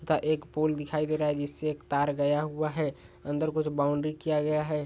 का एक पोल दिखाई दे रहा है जिससे एक तार गया हुआ है अंदर कुछ बाउन्ड्री किया गया है।